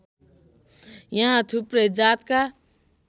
यहाँ थुप्रै जातका